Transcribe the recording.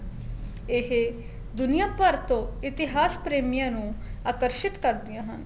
ਇਹ ਦੁਨੀਆਂ ਭਰ ਤੋਂ ਇਤਿਹਾਸ ਪ੍ਰੇਮੀਆਂ ਨੂੰ ਆਕਰਸ਼ਿਤ ਕਰਦੀਆਂ ਹਨ